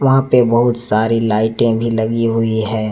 और बहुत सारी लाइटें भी लगी हुई है।